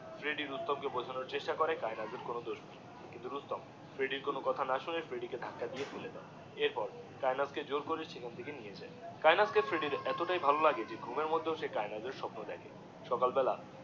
Freddy Rustam কে বোঝানোর চেষ্টা করে যে কায়েনাথের কোনো দশ নেই কিন্তু রুস্তম ফ্রেড্ডির কোনো কথা না শুনে ফ্রেড্ডিকে ধাক্কা দিয়ে ফেলে দিয়ে এর পর কায়েনাথ কে জোর কর সেখান থেকে নিয়ে যায় কায়েনাথ কে ফ্রেড্ডির এতটাই ভালো লাহ্গে যে ঘুমের মধ্যেও সে কায়েনাথএর স্বপ্ন দেখে সকাল বেলা